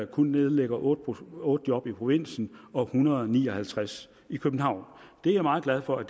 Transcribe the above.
kun nedlægger otte otte job i provinsen og en hundrede og ni og halvtreds i københavn det er jeg meget glad for